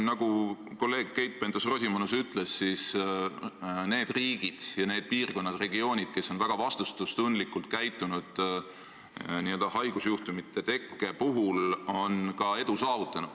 Nagu kolleeg Keit Pentus-Rosimannus ütles, need riigid ja need regioonid, kes on haigusjuhtumite tekke korral väga vastutustundlikult käitunud, on ka edu saavutanud.